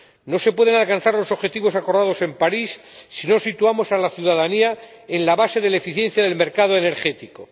No se pueden alcanzar los objetivos acordados en París si no situamos a la ciudadanía en la base de la eficiencia del mercado energético.